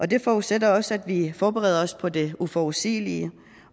det forudsætter også at vi forbereder os på det uforudsigelige